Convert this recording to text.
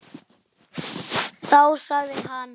Þá sagði hann.